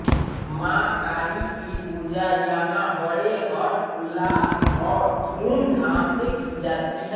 मां काली की पूजा यहां बड़े हर्ष उल्लास और धूम धाम से की जाती है